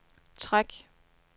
træk